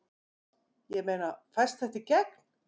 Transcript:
Ég meina, fæst þetta í gegn?